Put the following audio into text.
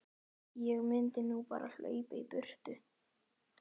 Ég mundi nú bara hlaupa í burtu.